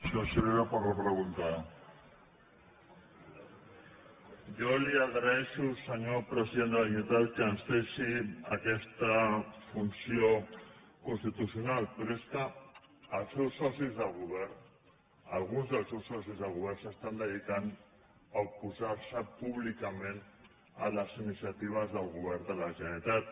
jo li agraeixo senyor president de la generalitat que ens deixi aquesta funció constitucional però és que els seus socis de govern alguns dels seus socis de govern es dediquen a oposar se públicament a les iniciatives del govern de la generalitat